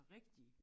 Rigtige